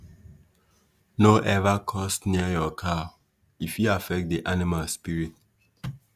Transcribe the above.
no ever curse near your cow — e fit affect the animal spirit.